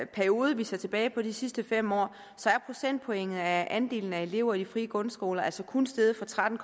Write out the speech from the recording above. periode vi ser tilbage på de sidste fem år er procentpointet af andelen af elever i de frie grundskoler altså kun steget fra tretten